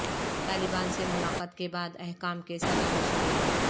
طالبان سے ملاقات کے بعد حکام کے صلاح مشورے